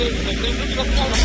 Qoy o tərəfə gedək.